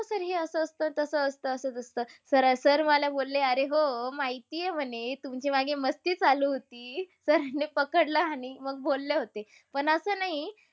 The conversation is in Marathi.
Sir हे असं असतं-तसं असतं. असच असतं. Sir मला बोलले, अरे हो. माहितीय म्हणे तुमची मागे मस्ती चालू होती. Sir नि पकडलं आणि मग बोलले होते. पण असं नाही